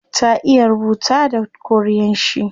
Ta iya rubuta da korean shi